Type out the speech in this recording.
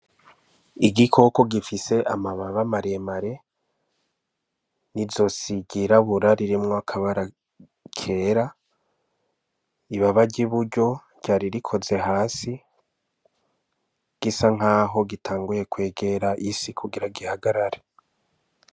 Igikoko gifise amababa maremare n'izosi ryirabura ririmwo akabara kera. Ibaba ry'iburyo ryari rikoze hasi. Gisa nk'aho gitanguye kwegera isi kugira gihagarare.